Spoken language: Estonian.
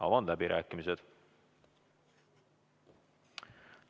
Avan läbirääkimised.